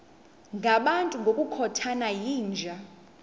ngabantu ngokukhothana yinja